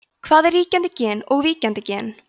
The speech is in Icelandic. hvað er ríkjandi gen og víkjandi gen